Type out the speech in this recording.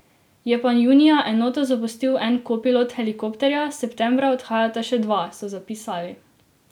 Je pa junija enoto zapustil en kopilot helikopterja, septembra odhajata še dva, so zapisali.